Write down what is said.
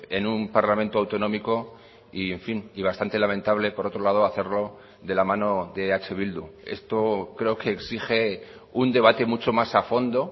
en un parlamento autonómico y en fin y bastante lamentable por otro lado hacerlo de la mano de eh bildu esto creo que exige un debate mucho más a fondo